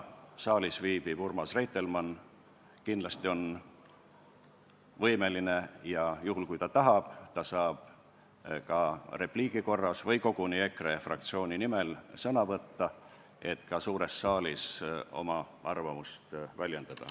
Saalis viibiv Urmas Reitelmann on kindlasti võimeline sõna võtma ja juhul, kui ta tahab, saab ta repliigi korras või koguni EKRE fraktsiooni nimel sõna võtta, et ka suures saalis oma arvamust väljendada.